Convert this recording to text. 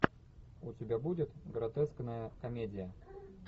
у тебя будет гротескная комедия